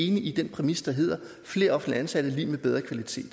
enig i den præmis der hedder flere offentligt ansatte er lig med bedre kvalitet